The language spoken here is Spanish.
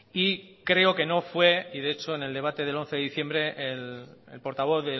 y creo que no fue y de hecho en el debate del once de diciembre el portavoz